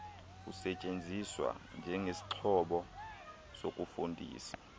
usetyenziswe njengesixhobo sokufundisa